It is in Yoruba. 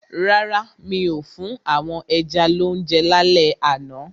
Rárá, mi ò fún àwọn ẹja lounje lálẹ́ àná.